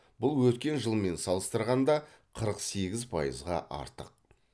бұл өткен жылмен салыстырғанда қырық сегіз пайызға артық